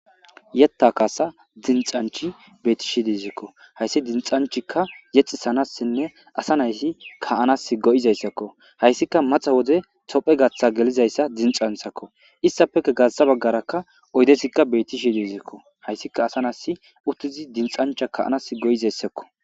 yetta kaasa dinxanchi beetishi dizekko hayssi dinxanchikka yexi sanassinne asa nayssi ka7anas go7izayssakko hayssika maxa wode tophe gaththa gelizayssa dinxanthakko issafeka gassa baggarakka oydesikka betishi dizikko hayssika asa nays uttizi dinxancha kaanas go7izayssakko